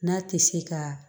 N'a tɛ se ka